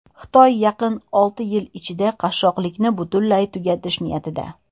Xitoy yaqin olti yil ichida qashshoqlikni butunlay tugatish niyatida.